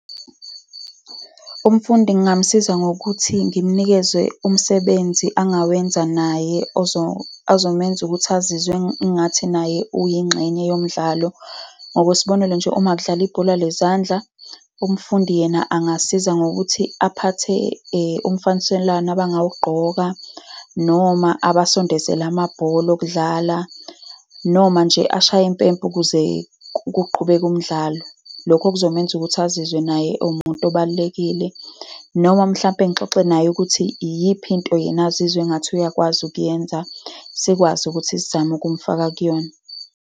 Umfundi ngingamusiza ngokuthi ngimunikeze umsebenzi angawenza naye, ozomenza ukuthi azizwe engathi naye uyingxenye yomdlalo. Ngokwesibonelo nje, uma kudlalwa ibhola lezandla, umfundi yena angasiza ngokuthi aphathe umfaniselwano abangawugqoka, noma abasondezele amabhola okudlala, noma nje ashaye impempe ukuze kuqhubeke umdlalo. Lokho kuzomenza ukuthi azizwe naye ewumuntu obalulekile. Noma mhlampe ngixoxe naye ukuthi iyiphi into yena azizwe engathi uyakwazi ukuyenza, sikwazi ukuthi sizame ukumfaka kuyona.